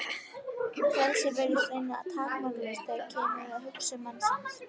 Frelsið virðist reyndar takmarkalaust þegar kemur að hugsun mannsins.